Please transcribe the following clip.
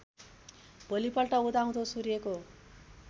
भोलिपल्ट उदाउँदो सूर्यको